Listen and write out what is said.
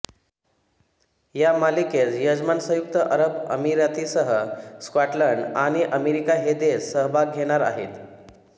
या मालिकेत यजमान संयुक्त अरब अमिरातीसह स्कॉटलंड आणि अमेरिका हे देश सहभाग घेणार आहेत